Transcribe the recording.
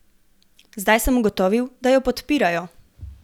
Zdaj sem ugotovil, da jo podpirajo.